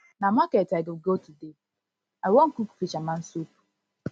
na market i go go today i wan cook fisherman soup